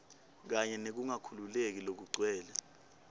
kanye nekungakhululeki lokugcwele